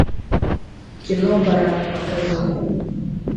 кино парад покажи